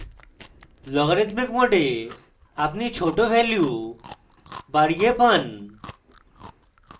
logarithmic mode আপনি ছোট value বাড়িয়ে পান